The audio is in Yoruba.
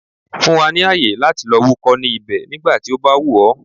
Fún wa ní àyè, lọ wúkọ́ ní ibẹ̀ nígbà tí ó bá wù ọ̀.